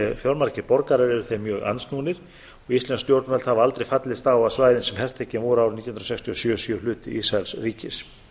fjölmargir borgarar eru þeim mjög andsnúnir og íslensk stjórnvöld hafa aldrei fallist á að svæðin sem hertekin voru árið nítján hundruð sextíu og sjö séu hluti ísraelsríkis